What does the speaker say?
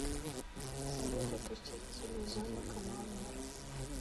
салют запустить телевизионный канал мир